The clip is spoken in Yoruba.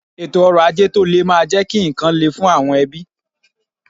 Ètò ọrọ̀ ajé tó le máa jẹ́ kí ǹkan le fún àwọn ẹbí.